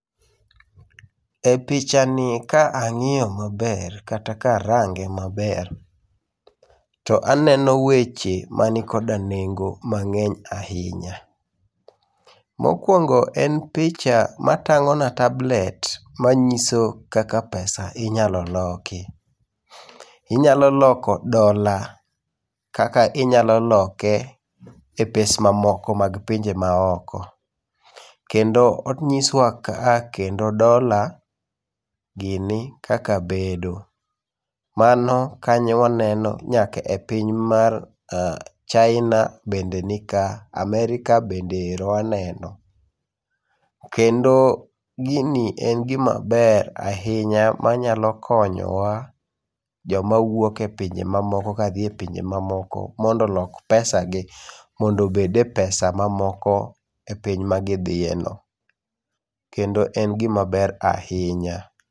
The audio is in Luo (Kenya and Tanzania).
E pichanie ka ang'iyo maber kata ka arange maber, to aneno weche man koda nengo mang'eny ahinya. Mokuongo en picha matang'ona tablet manyiso kaka pesa inyalo loki. Inyalo loko dola, kaka inyalo loke e pes mamoko mag pinje maoko. Kendo onyiswa ka kendo dola gini kaka bedo. Mano kanyo waneno nyaka e piny mar China bende nika. America bende ero waneno. Kendo gini en gima ber ahinya manyalo konyowa, joma wuok epinje mamoko kadhi e pinje mamoko mondo olok pesagi mondo obed e pesa mamoko e piny magidhiyeno. Kendo en gima ber ahinya.